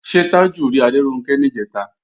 Ṣé Tájù rí Adéronkẹ́ níjẹ̀ta?